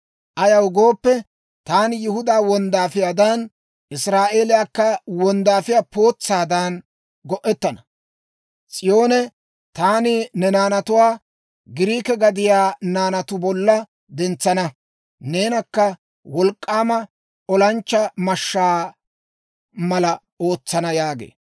Ayaw gooppe, taani Yihudaa wonddaafiyaadan, Israa'eeliyaakka wonddaafiyaa pootsaadan go'ettana. S'iyoonee, taani ne naanatuwaa Giriike gadiyaa naanatu bolla dentsana; neenakka wolk'k'aama olanchchaa mashshaa mala ootsana» yaagee.